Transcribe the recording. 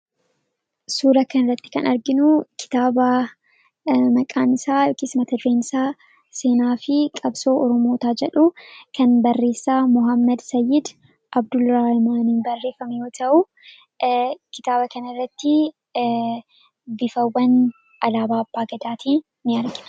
suura kan irratti kan arginu kitaaba maqaanisaa yookiis matadireensaa seenaa fi qabsoo orumoota jedhu kan barreessaa mohammad sayyid abduu ramaanii barreefami'oo ta'uu kitaaba kan irratti bifawwan alaabaabagadaatii in argie